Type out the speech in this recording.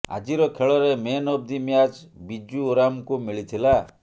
ଆଜିର ଖେଳରେ man of the match Biju ଓରାମଙ୍କୁ ମିଳିଥିଲା